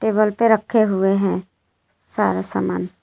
Table पे रखे हुए हैं सारे सामान।